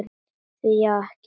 Því þá ekki?